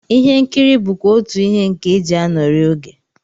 Ihe nkiri bụkwa otú ihe nke e ji anọrị oge